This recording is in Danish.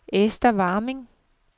Esther Warming